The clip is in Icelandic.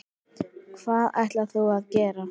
Hvað ætlar þú að gera?